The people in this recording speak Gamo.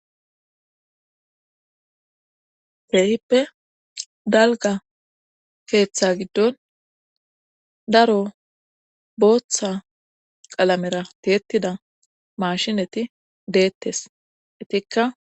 keehippe dalga keeththa giddon daro booththa qalamera tiyetida mashineti deettes etikka.